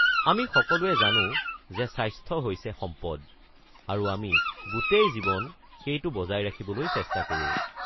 আমি সকলোৱে জানো যে স্বাস্থ্য হৈছে সম্পদ, আৰু আমি গোটেই জীৱন সেইটো বজাই ৰাখিবলৈ চেষ্টা কৰোঁ।